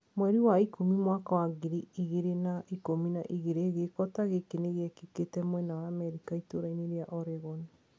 Mweri wa ikũmi mwaka wa ngiri igĩrĩ na ikũmi na igĩrĩ giiko ta giki nigiekikite mwena wa Amerika ituraini ria Oregon.